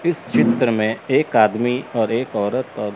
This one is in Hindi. इस चित्र में एक आदमी और एक औरत--